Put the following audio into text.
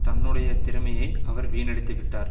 தன்னுடைய திறமையை அவர் வீணடித்து விட்டார்